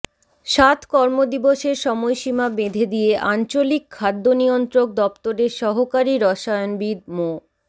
সাত কর্মদিবসের সময়সীমা বেঁধে দিয়ে আঞ্চলিক খাদ্য নিয়ন্ত্রক দপ্তরের সহকারী রসায়নবিদ মো